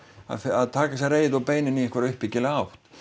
að taka þessa reiði og beina henni í einhverja uppbyggilega átt